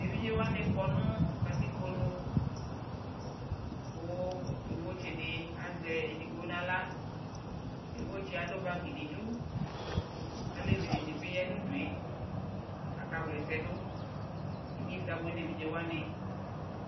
ɛvidzɛ wanikɔnʋkatikpɔ nʋ kʋ yɔvɔ tsi di azɛ ɛdigbɔ nʋala, yɔvɔ tsiɛ adʋ bag nʋ idʋ, alɛvi dini bi yanʋ ʋdʋɛ kʋ aka wlɛsɛ dʋ, inyɛsɛ abʋɛ nʋɛvidzɛ wani